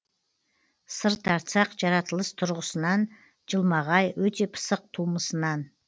сыр тартсақ жаратылыс тұрғысынан жылмағай өте пысық тумысынан